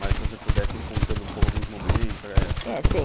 Mas se você pudesse ir contando um pouco alguns momentos... É, sim.